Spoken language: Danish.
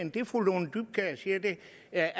jeg